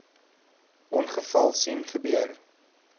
ongeval sien gebeur